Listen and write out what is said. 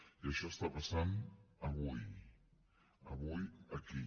i això està passant avui avui aquí